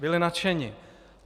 Byli nadšeni.